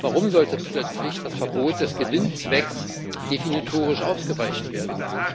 Warum sollte plötzlich das Verbot des Gewinnzwecks definitorisch aufgeweicht werden?